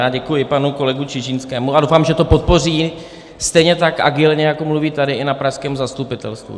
Já děkuji panu kolegovi Čižinskému a doufám, že to podpoří stejně tak agilně, jako mluví tady, i na pražském zastupitelstvu.